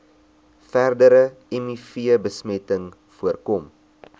verdere mivbesmetting voorkom